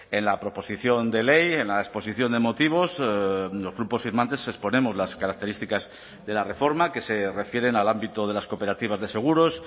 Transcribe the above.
en la proposición de ley en la exposición de motivos los grupos firmantes exponemos las características de la reforma que se refieren al ámbito de las cooperativas de seguros